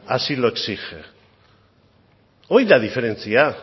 así lo exige hori da diferentzia